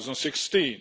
2016.